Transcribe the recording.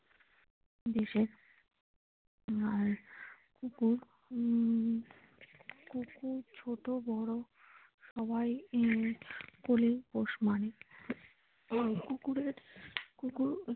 আর কুকুর উম ছোটো বড় সবাই নিয়ে কোলে পোষ মানে কুকুরের কুকুর।